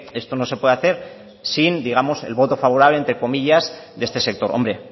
esto no se puede hacer sin digamos el voto favorable entre comillas de este sector hombre